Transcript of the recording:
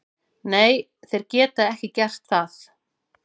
Nei, þeir geta ekki gert það.